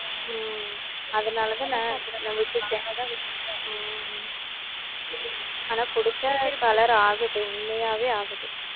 உம் அதனாலதான் நான் விட்டுட்டேன் உம் ஆனா குடிச்சா color ஆகுது உண்மையாவே ஆகுது